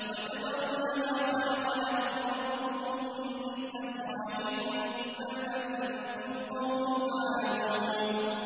وَتَذَرُونَ مَا خَلَقَ لَكُمْ رَبُّكُم مِّنْ أَزْوَاجِكُم ۚ بَلْ أَنتُمْ قَوْمٌ عَادُونَ